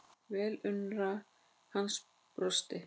Velunnari hans brosti.